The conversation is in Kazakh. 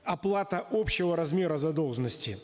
оплата общего размера задолженности